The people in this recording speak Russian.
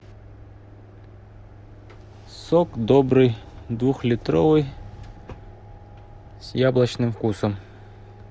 сок добрый двухлитровый с яблочным вкусом